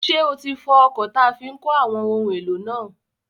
Ṣé o ti fọ ọkọ̀ táa fi n kó àwọn ohun èlò náà?